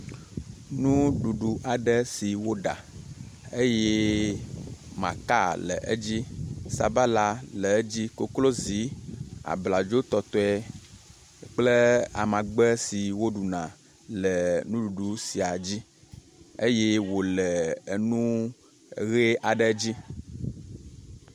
Nuɖuɖu aɖe si woɖa eye maka le edzi, sabala le edzi, koklozi abladzotɔtɔe kple amagbe si woɖuna le nuɖuɖu sia dzi eye wole enu ʋi aɖe dzi.